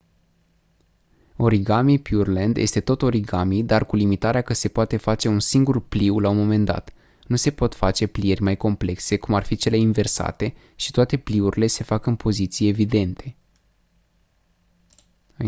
origami pureland este tot origami dar cu limitarea că se poate face un singur pliu la un moment dat nu se pot face plieri mai complexe cum ar fi cele inversate și toate pliurile se fac în poziții evidente